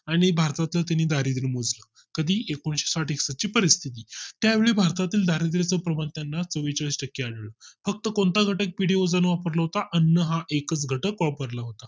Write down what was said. आणि भारतातील त्यांनी दारिद्य मोजलं कधी एकोणीशे साठ एकसष्ठ ची परिस्थिती त्यावेळी भारतातील दारिद्र चे प्रवक्त्यानं चवेचाळीस टक्के आलं फक्त कोणता घटक वापरला होता अन्न हा एकच घटक वापरला होता